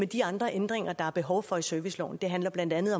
de andre ændringer der er behov for af serviceloven det handler blandt andet